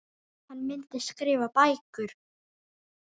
Hann myndi skrifa bækur.